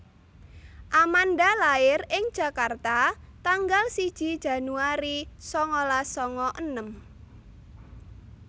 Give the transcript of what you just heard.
Amanda lair ing Jakarta tanggal siji Januari sangalas sanga enem